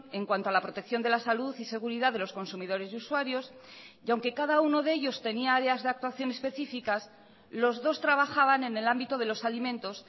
en cuanto a la protección de la salud y seguridad de los consumidores y usuarios y aunque cada uno de ellos tenía áreas de actuación específicas los dos trabajaban en el ámbito de los alimentos